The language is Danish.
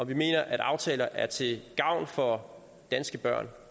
vi mener at aftaler er til gavn for danske børn